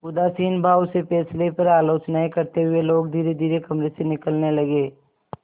उदासीन भाव से फैसले पर आलोचनाऍं करते हुए लोग धीरेधीरे कमरे से निकलने लगे